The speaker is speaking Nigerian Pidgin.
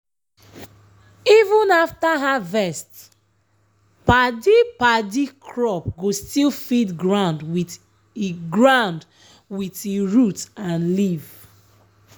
even after harvest padi-padi crop go still feed ground with e ground with e root and leaf.